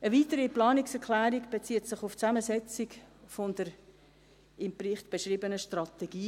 Eine weitere Planungserklärung bezieht sich auf die Zusammensetzung der im Bericht beschriebenen SWI.